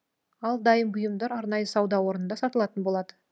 ал дайын бұйымдар арнайы сауда орнында сатылатын болады